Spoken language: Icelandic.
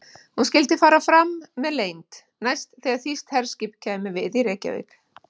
Hún skyldi fara fram með leynd, næst þegar þýskt herskip kæmi við í Reykjavík.